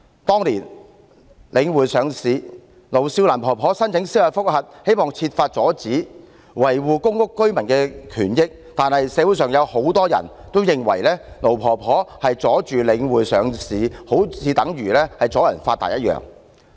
當年領匯上市，盧少蘭婆婆申請司法覆核，希望設法阻止，維護公屋居民的權益，但是，社會上有很多人認為盧婆婆妨礙領匯上市，如同"阻人發達"。